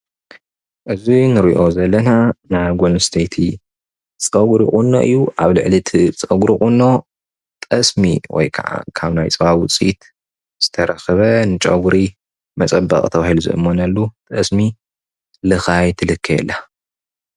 እዚ ንሪኦ ዘለና ናይ ጓል ኣንስተይቲ ፀጉሪ ቁኖ እዩ፡፡ ኣብ ልዕሊ እቲ ፀጉሪ ቁኖ ጠስሚ ወይ ከዓ ካብ ናይ ፃባ ዉፅኢት ዝተረኸበ ንፀጉሪ መፀበቒ ተባሂሉ ዝእመነሉ ጠስሚ ልኻይ ትልከይ ኣላ፡፡